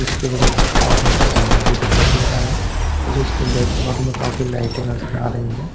इसके बगल से एक पानी का झरना भी दिखाई दे रहा है मुझे इसके बैकग्राउंड में काफी लाइट भी नजर आ रही है ।